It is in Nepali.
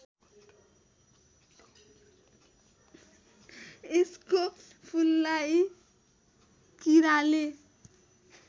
यसको फूललाई कीराले